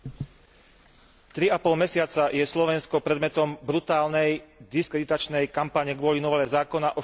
Tri a pol mesiaca je Slovensko predmetom brutálnej, diskreditačnej kampane kvôli novele zákona o štátnom jazyku.